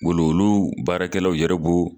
olu baarakɛlaw yɛrɛ b'o